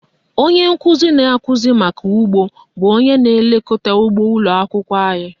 Onye nkụzi na-akụzi maka ụgbọ bụ onye na-elekọta ụgbọ ụlọakwụkwọ anyị